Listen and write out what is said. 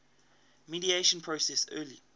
mediation process early